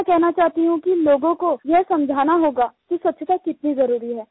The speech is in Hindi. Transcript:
मैं कहना चाहती हूँ कि लोगों को यह समझाना होगा कि स्वच्छता कितनी ज़रूरी है